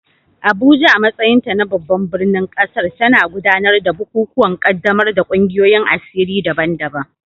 Abuja, a matsayinta na babban birnin ƙasar, tana gudanar da bukukuwan ƙaddamar da ƙungiyoyin asiri daban-daban